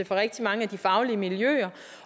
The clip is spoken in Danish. fra rigtig mange af de faglige miljøer